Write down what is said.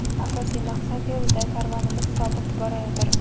asosiy maqsad yo‘lida karvonimiz sobit borayotir.